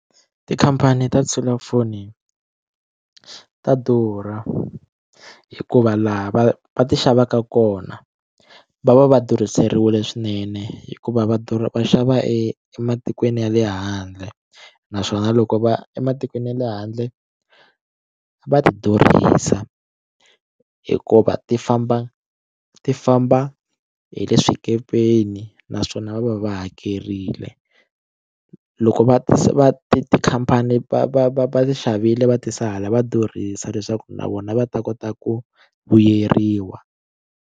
Tikhampani ta tiselulafoni ta durha hikuva laha va va ti xavaka kona va va va durhiseriwile swinene hikuva va durha va xava ematikweni ya le handle naswona loko va ematikweni ya le handle va ti durhisa hikuva ti famba ti famba hi le swikepeni naswona va va va hakerile loko va ti va ti tikhampani va va va va xavile va tisa hala va durhisa leswaku na vona va ta kota ku vuyeriwa.